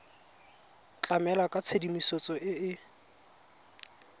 tlamela ka tshedimosetso e e